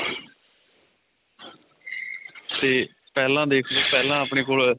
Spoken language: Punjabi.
ਤੇ ਪਹਿਲਾਂ ਦੇਖ ਲੋ ਪਹਿਲਾਂ ਆਪਣੇ ਕੋਲ